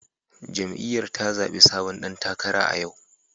Jam'iyyar ta zabi sabon dan takara a yau